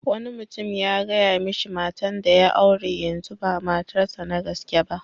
Wani mutum ya gaya mishi matan da ya aure yanzu ba matar sa na gaske ba.